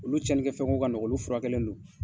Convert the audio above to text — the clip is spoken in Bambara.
Olu cɛnin kɛ fɛnko ka nɔgɔn olu furakɛlen non.